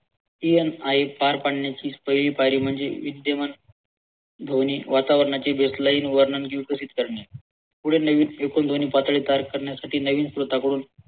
स्त्री आणि आई पार पाडण्याची पहिली पायरी म्हणजे विद्यमान वातावरणाची देखलाईन वर्णनें विकसित करणे पुढे नवीन एकूण ध्वनी पातळी पार पाडण्यासाठी नवीन स्रोतांकडून